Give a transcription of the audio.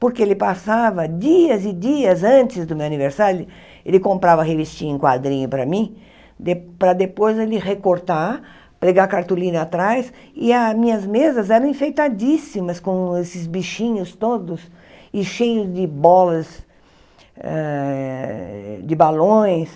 Porque ele passava dias e dias antes do meu aniversário, ele ele comprava revistinha em quadrinho para mim, de para depois ele recortar, pregar cartolina atrás, e as minhas mesas eram enfeitadíssimas, com esses bichinhos todos, e cheios de bolas, eh de balões.